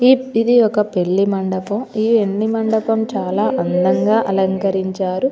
ఈ ఇది ఒక పెళ్లి మండపం. ఈ పెళ్లి మండపం చాల అందంగా అలకరించారు.